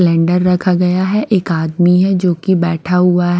Splendor रखा गया है एक आदमी है जो कि बैठा हुआ है।